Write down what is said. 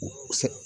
O tɛ